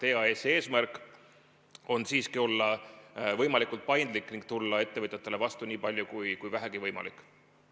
EAS-i eesmärk on siiski olla võimalikult paindlik ning tulla ettevõtjatele vastu nii palju, kui vähegi võimalik on.